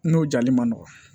N'o jali man nɔgɔn